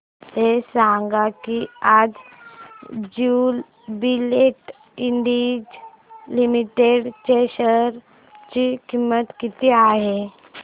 हे सांगा की आज ज्युबीलेंट इंडस्ट्रीज लिमिटेड च्या शेअर ची किंमत किती आहे